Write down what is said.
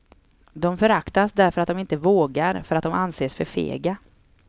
De föraktas därför att de inte vågar, för att de anses för fega.